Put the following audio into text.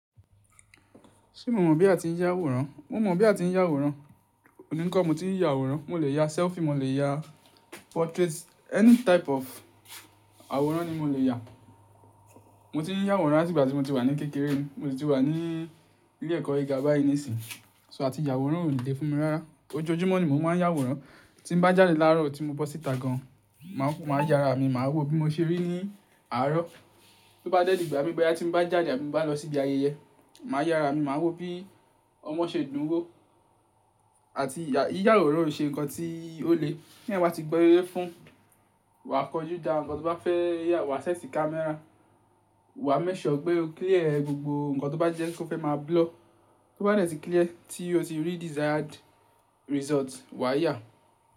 Ṣé mo mọ̀ bí a ti ń yá àwòrán? Mo mọ̀ bí a ti ń yá àwòrán. Òní kọ́ mo ti ń yá àwòrán, mo lè ya selfie, mo lè ya portrait, any type of àwòrán ni mo lè yá. Mo ti ń yá àwòrán láti ìgbà tí mo ti wà ní kékeré ni, mo ti wà ní ilé ẹ̀kọ́ gíga báyìí nísìínyi, so àti yá àwòrán ò lè dé fún mi rárá. Ojoojúmọ́ ni mò ń yá àwòrán, tí bá jáde láàárọ̀ tí mo bọ́ síta gan, mà á yára mi, mà á wò bí mo ṣe rí ní àárọ̀. Bí ó bá dẹ̀dẹ̀ ìgbà mi bẹ́rẹ́ tí mo bá jáde àti bá lọ síbi ayẹyẹ, mà á yára mi, mà á wò bí ọmọ ṣe ń dùn wò. Àti ìyà ìyá àwòrán ò ṣe nǹkan tí ó le ní àwa ti gbọ ye fún, wà á kọ jú dá nǹkan tó bá fẹ́ yà, wà á sẹ́tì camera, wà á mẹ́ṣọ̀ ọ́ pé o clear gbogbo nǹkan tó bá jẹ́ kó fẹ́ máa blur. Tó bá dẹ̀ ti clear tí o ti rí desired result wà á yà.